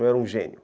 Eu era um gênio.